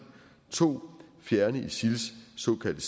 2 at fjerne isils såkaldte